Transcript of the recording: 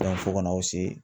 fo ka na aw se